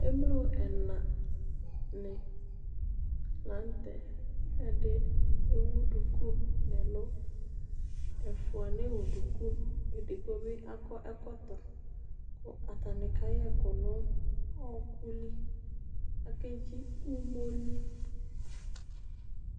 Emlo ɛna ni la n'tɛ Ɛdi ewu duku n'ɛlu, ɛfua ne wu duku, edigbo bi akɔ ɛkɔtɔ ku atani ka yɛku nu ɔku lɩ, ake dzɩ umoli